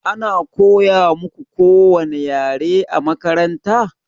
Ana koya muƙu kowani ƴare a maƙaranta?